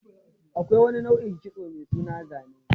Akwai wani nau'in kitso mai suna zane